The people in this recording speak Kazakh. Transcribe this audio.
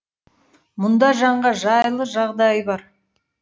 мұнда жанға жайлы жағдай бар